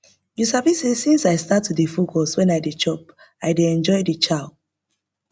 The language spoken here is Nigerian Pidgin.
you sabi say since i start to dey focus when i dey chop i dey enjoy the chow